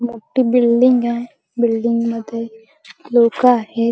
मोठी बिल्डिंग आहे बिल्डिंग मध्ये लोक आहेत.